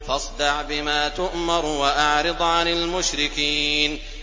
فَاصْدَعْ بِمَا تُؤْمَرُ وَأَعْرِضْ عَنِ الْمُشْرِكِينَ